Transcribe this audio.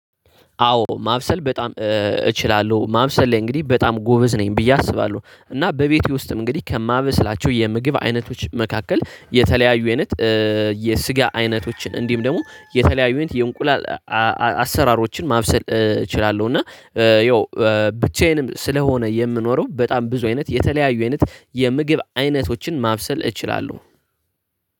አዎ ማብሰል በጣም እችላለሁ። ማብሰል ላይ እንግዲህ በጣም ጎበዝ ነኝ ብዬ አስባለሁ እና በቤቴ ውስጥም እንግዲህ ከማበስላቸው የምግብ አይነቶች መካከል የተለያዩ አይነት የስጋ አይነቶችን እንዲህም ደግሞ የተለያዩ የእንቁላል አሰራሮችን ማብሰል እችላለሁ እና ያው ብቻዬንም ስለሆነ የምኖረው በጣም ብዙ አይነት የተለያዩ አይነት የምግብ አይነቶችን ማብሰል እችላለሁ።